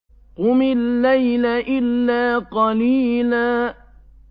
قُمِ اللَّيْلَ إِلَّا قَلِيلًا